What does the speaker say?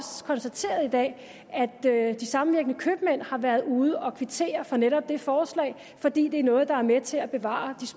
konstateret i dag at at de samvirkende købmænd har været ude at kvittere for netop det forslag fordi det er noget der er med til at bevare